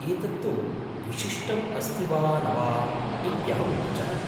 एतत्तु विशिष्टम् अस्ति वा न वा इत्यहं न जाने।